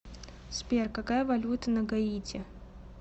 сбер какая валюта на гаити